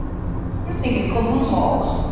Spurningin kom honum á óvart.